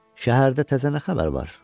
“Şəhərdə təzə nə xəbər var?”